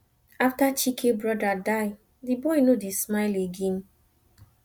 after chike brother die the boy no dey smile again